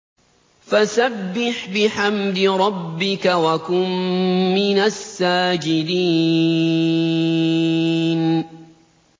فَسَبِّحْ بِحَمْدِ رَبِّكَ وَكُن مِّنَ السَّاجِدِينَ